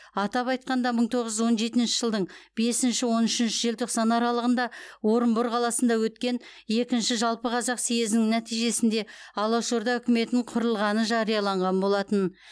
атап айтқанда мың тоғыз жүз он жетінші жылдың бесінші он үшінші желтоқсан аралығында орынбор қаласында өткен екінші жалпықазақ съезінің нәтижесінде алаш орда үкіметін құрылғаны жарияланған болатын